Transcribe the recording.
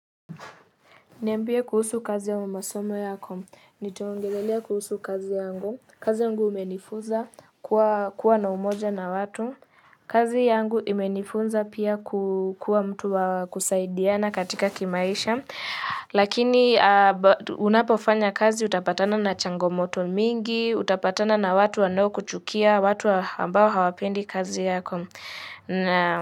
Niambie kuusu kazi au masomo yako. Nitaongelelea kuusu kazi yangu. Kazi yangu umenifunza kuwa na umoja na watu. Kazi yangu imenifunza pia kukua mtu wa kusaidiana katika kimaisha. Lakini unapofanya kazi utapatana na changomoto mingi, utapatana na watu wano kuchukia, watu ambao hawapendi kazi yako.